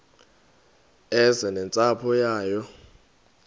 eze nentsapho yayo